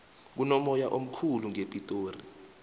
kunomoya omkhulu ngepitori